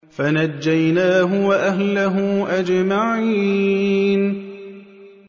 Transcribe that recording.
فَنَجَّيْنَاهُ وَأَهْلَهُ أَجْمَعِينَ